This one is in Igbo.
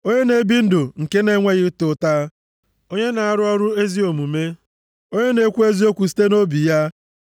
Onye na-ebi ndụ nke na-enweghị ịta ụta, onye na-arụ ọrụ ezi omume, onye na-ekwu eziokwu site nʼobi ya.